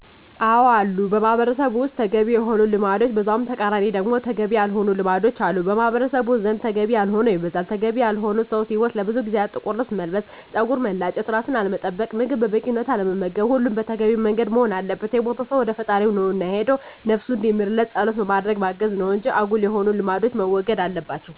አዎ አሉ በማህበረሰቡ ውስጥ ተገቢ የሆኑ ልማዶች በዛው ተቃራኒ ደግሞ ተገቢ ያልሆኑ ልማዶች አሉ። በማህበረሰቡ ዘንድ ተገቢ ያልሆነው ይበዛል። ተገቢ ያልሆኑት ሰው ሲሞት ለብዙ ጊዜያት ጥቁር ለብስ መልበስ፣ ፀጉርን መላጨት፣ ራስን አለመጠበቅ፣ ምግብ በበቂ ሁኔታ አለመመገብ ሁሉም በተገቢው መንገድ መሆን አለበት። የሞተው ሰው ወደ ፈጣሪው ነው እና የሄደው ነብሱን እንዲምርለት ፀሎት በማድረግ ማገዝ ነው እንጂ አጉል የሆኑ ልማዶች መወገድ አለባቸው